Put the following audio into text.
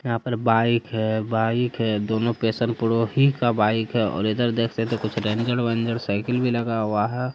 यहाँ पर बाइक है बाइक है दो नो पेसन का ही बाइक है इधर देख सकते है कुछ रंजन वंजन साइकल भी लगा हुआ है ।